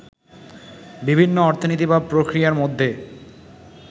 বিভিন্ন অর্থনীতি বা প্রক্রিয়ার মধ্যে